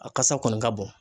A kasa kɔni ka bon.